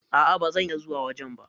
A,a bazan iya zuwa wajen ba.